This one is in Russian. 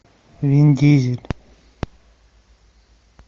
вин дизель